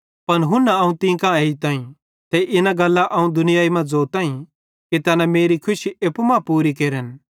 पन हुन्ना अवं तीं कां एजताईं ते इना गल्लां अवं दुनिया मां ज़ोताईं कि तैना मेरी खुशी एप्पू मां पूरी केरन